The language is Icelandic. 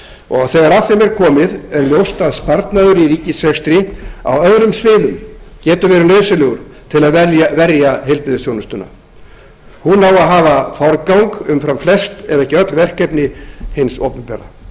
og þegar að þeim er komið er ljóst að sparnaður í ríkisrekstri á öðrum sviðum getur verið nauðsynlegur til að verja heilbrigðisþjónustuna hún á að hafa forgang umfram flest ef ekki öll verkefni hins opinbera